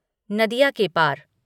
नदिया के पार